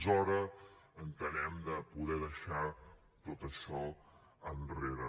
és hora entenem de poder deixar tot això enrere